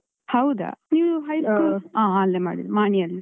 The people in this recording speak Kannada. ಹೌದಾ? ನೀವು, high school? . ಹ ಅಲ್ಲೆ ಮಾಡಿದ್ದು, ಮಾಣಿಯಲ್ಲೆ.